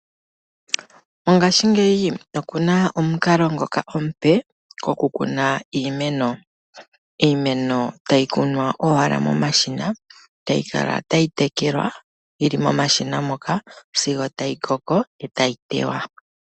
Mongaashingeyi opu na omukalo ngoka omupe gokukuna iimeno. Iimeno tayi kunwa owala momashina tayi kala tayi tekelwa yi li momashina moka sigo tayi koko etayi tewa.